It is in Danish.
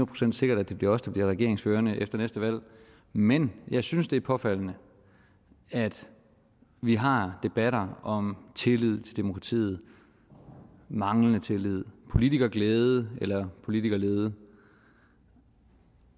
procent sikkert at det bliver os der bliver regeringsførende efter næste valg men jeg synes det er påfaldende at vi har debatter om tillid til demokratiet manglende tillid politikerglæde eller politikerlede